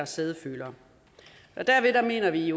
sædefølere derved mener vi